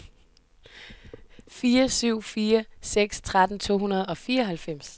fire syv fire seks tretten to hundrede og fireoghalvfems